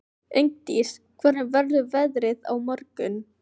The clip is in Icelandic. Ingdís, hvernig verður veðrið á morgun?